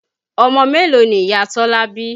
Ọmọ mélòó ni Ìyá Tọ́lá bí?